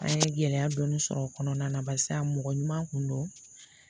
An ye gɛlɛya dɔɔni sɔrɔ o kɔnɔna na barisa mɔgɔ ɲuman kun do